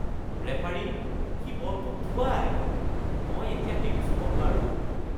Referee, সি বলটোত থুৱায়। মই এতিয়া এইটো চুব নোৱাৰোঁ।